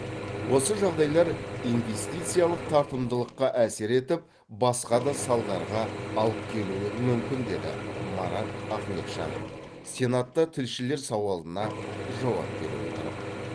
осы жағдайлар инвестициялық тартымдылыққа әсер етіп басқа да салдарға алып келуі мүмкін деді марат ахметжанов сенатта тілшілер сауалына жауап бере отырып